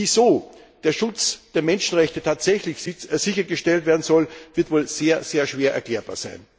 Wie so der Schutz der Menschenrechte tatsächlich sichergestellt werden soll, wird wohl sehr, sehr schwer erklärbar sein.